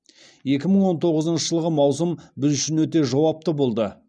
екі мың он тоғызыншы жылғы маусым біз үшін өте жауапты болды